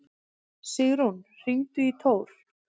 Sigrún, hringdu í Tór.